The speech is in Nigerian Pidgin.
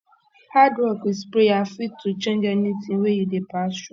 hardwork with prayer fit to change anything wey you dey pass through